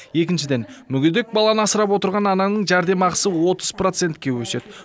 екіншіден мүгедек баланы асырап отырған ананың жәрдемақысы отыз процентке өседі